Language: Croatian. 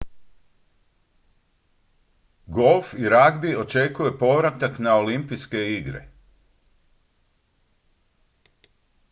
golf i ragbi očekuje povratak na olimpijske igre